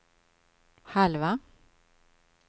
halva